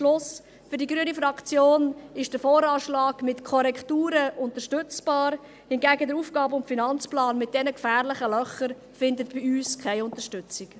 Fazit: Für die grüne Fraktion ist der VA mit Korrekturen unterstützbar, der AFP hingegen findet mit diesen gefährlichen Löchern bei uns keine Unterstützung.